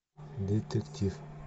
детектив